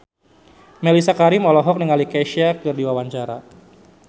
Mellisa Karim olohok ningali Kesha keur diwawancara